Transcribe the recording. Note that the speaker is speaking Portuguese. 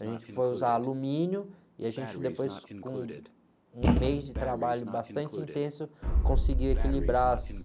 A gente foi usar alumínio e, a gente, depois, com um mês de trabalho bastante intenso, conseguiu equilibrar as...